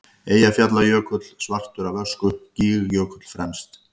Eyjafjallajökull svartur af ösku, Gígjökull fremst.